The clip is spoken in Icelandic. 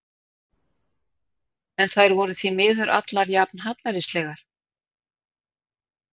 En þær voru því miður allar jafn hallærislegar.